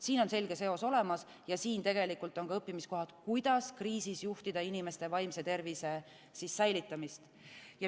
Siin on selge seos olemas ja siin on ka õppimiskohad, kuidas kriisis juhtida inimeste vaimse tervise säilitamist.